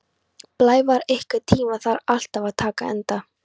Blævar, einhvern tímann þarf allt að taka enda.